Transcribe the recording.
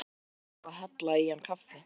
Þær voru iðnar við að hella í hann kaffi.